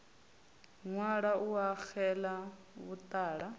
ṅwala u a xedza vhuṱala